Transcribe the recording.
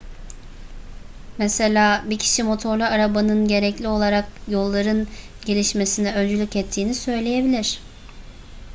mesela bir kişi motorlu arabanın gerekli olarak yolların gelişmesine öncülük ettiğini söyleyebilir